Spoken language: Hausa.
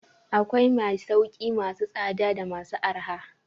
Akwai masauki masu tsada da masu arha.